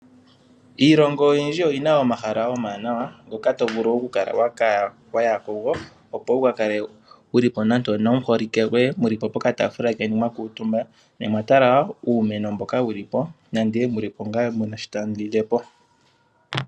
Iilongo oyindji oyi na omahala omawanawa ngoka to vulu okuya kugo opo wuka kale ko wu li nande onomuholike goye mu li pokataafula mwa kuutumba. Ne omwa tala uumeno mboka wu li po ne mu na sho tamu lile po.